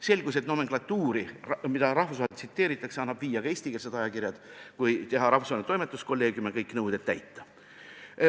Selgus, et nomenklatuuri, mida rahvusvaheliselt tsiteeritakse, saab viia ka eestikeelsed ajakirjad või moodustada rahvusvaheline toimetuskolleegium ja sedasi kõik nõuded täita.